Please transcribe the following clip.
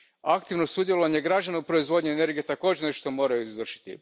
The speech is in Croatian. Aktivno sudjelovanje građana u proizvodnji energije također je nešto što moraju izvršiti.